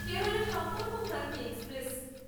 Kerala Sampark Kranti express